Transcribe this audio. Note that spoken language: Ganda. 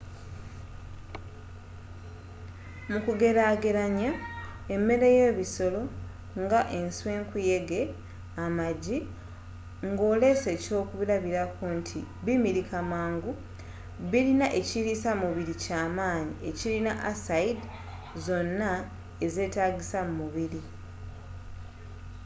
mu kugereageranya emmere yebisolo ensw, enkuyege amagi ngolese ekyokuba bti bimilika mangu, birina ekiriisa mu mubiri ekyamanyi ekirina aside zonna ezeetagisa mumubiri